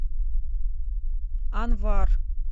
анвар